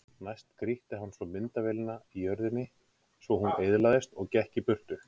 Næst grýtti hann svo myndavélinni í jörðina svo hún eyðilagðist og gekk í burtu.